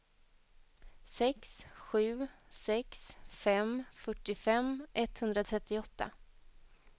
sex sju sex fem fyrtiofem etthundratrettioåtta